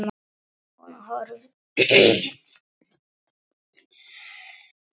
Hún horfir á hann hlessa.